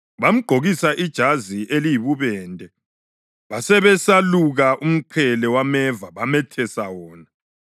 Bamgqokisa ijazi eliyibubende, basebeseluka umqhele wameva bamethesa wona.